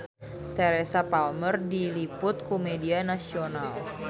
Teresa Palmer diliput ku media nasional